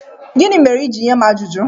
Gịnị mere i ji nye m ajụjụ?